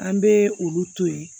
An bɛ olu to yen